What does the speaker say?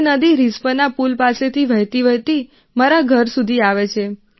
તે નદી રિસ્પના પુલ પાસેથી વહેતીવહેતી મારા ઘર સુધી આવે છે